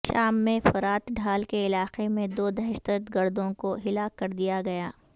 شام میں فرات ڈھال کے علاقے میں دو دہشت گردوں کو ہلاک کردیا گیا